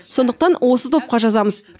сондықтан осы топқа жазамыз